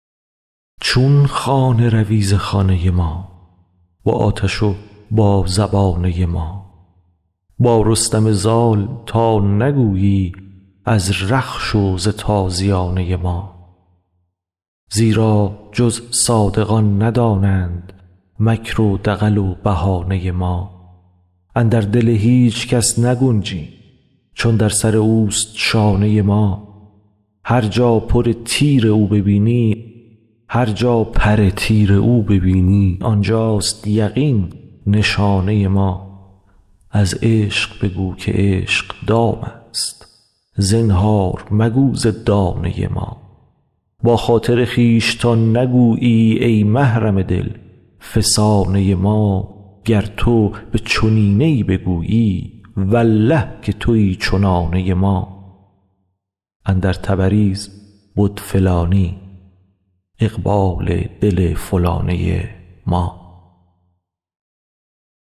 چون خانه روی ز خانه ما با آتش و با زبانه ما با رستم زال تا نگویی از رخش و ز تازیانه ما زیرا جز صادقان ندانند مکر و دغل و بهانه ما اندر دل هیچ کس نگنجیم چون در سر اوست شانه ما هر جا پر تیر او ببینی آن جاست یقین نشانه ما از عشق بگو که عشق دامست زنهار مگو ز دانه ما با خاطر خویش تا نگویی ای محرم دل فسانه ما گر تو به چنینه ای بگویی والله که توی چنانه ما اندر تبریز بد فلانی اقبال دل فلانه ما